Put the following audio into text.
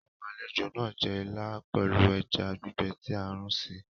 Àwọn àlejò náà jẹ ìlà pelu ẹja gbígbé tí a runsi